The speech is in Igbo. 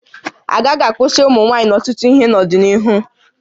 Agaghị akwụsị ụmụ nwaanyị n'ọtụtụ ihe n'ọdịnihu